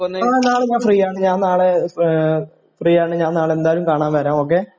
ആ നാളെ ഞാൻ ഫ്രീയാണ് ഞാൻ നാളെ ഏഹ് ഫ്രീയാണ് ഞാൻ നാളെ എന്തായാലും കാണാൻ വരാം ഒക്കെ.